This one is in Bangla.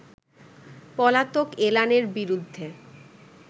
পলাতক এলানের বিরুদ্ধে